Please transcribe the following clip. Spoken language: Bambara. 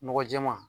Nɔgɔ jɛman